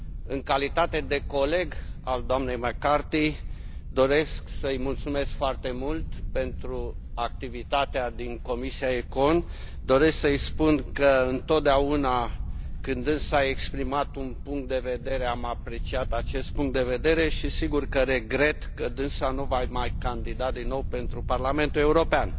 În calitate de coleg al dnei McCarthy, doresc să i mulțumesc foarte mult pentru activitatea din Comisia ECON, doresc să i spun că întotdeauna când dânsa a exprimat un punct de vedere am apreciat acest punct de vedere și, sigur, că regret că dânsa nu va mai candida din nou pentru Parlamentul European.